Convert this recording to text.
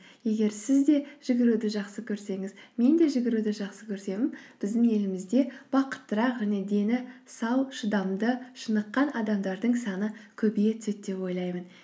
егер сіз де жүгіруді жақсы көрсеңіз мен де жүгіруді жақсы көрсем біздің елімізде бақыттырақ және дені сау шыдамды шыныққан адамдардың саны көбейе түседі деп ойлаймын